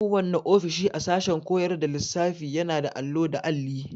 Kowanne ofishi a sashen koyar da lissafiyana da allo da alli.